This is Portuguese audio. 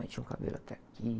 Aí tinha um cabelo até aqui.